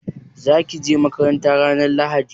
Za ki je makaranta ranar Lahadi?